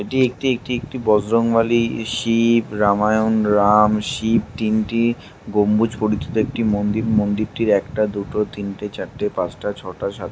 এটি একটি এটি একটি বজরং বালি শি-ইব রামায়ণ রাম শিব তিনটি গম্বুজ পরিচিত একটি মন্দির। মন্দিরটির একটা দুটো তিনটে চারটে পাঁচটা ছয়টা সাত --